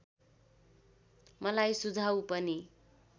मलाई सुझाउ पनि